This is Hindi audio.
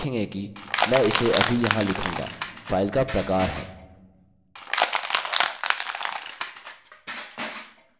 अगला हम देखेंगे कि मैं उसे अभी यहाँ लिखूँगा फाइल का प्रकार है